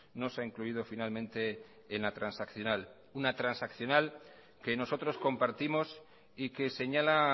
no se ha incluido finalmente en la transaccional una transaccional que nosotros compartimos y que señala